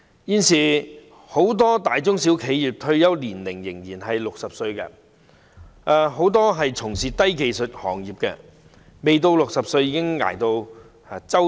現時很多大中小企業的退休年齡仍是60歲，很多從事低技術行業的人士未到60歲已熬得五癆七傷。